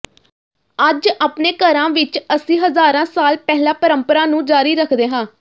ਅੱਜ ਆਪਣੇ ਘਰਾਂ ਵਿਚ ਅਸੀਂ ਹਜ਼ਾਰਾਂ ਸਾਲ ਪਹਿਲਾਂ ਪਰੰਪਰਾ ਨੂੰ ਜਾਰੀ ਰੱਖਦੇ ਹਾਂ